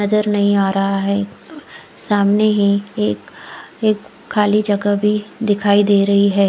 नजर नही आ रहा है सामने ही एक एक खाली जगह भी दिखाई दे रही है।